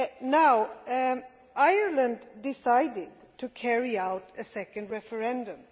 Now Ireland decided to carry out a second referendum.